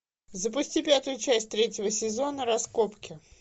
запусти пятую часть третьего сезона раскопки